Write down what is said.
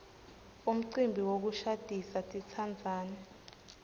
umcimbi wokushadisa titsandzani